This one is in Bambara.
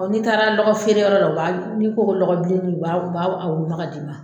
N'i taara lɔgɔ feere yɔrɔ la o b'a n'i ko ko ko lɔgɔ bilenin o o b'a b'a a woloma ka d'i ma.